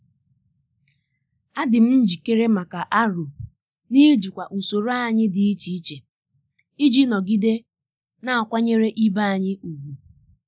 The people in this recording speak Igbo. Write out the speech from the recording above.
adị m njikere maka aro n'ijikwa usoro anyị dị iche iji nọgide na-akwanyere ibe anyị ùgwù.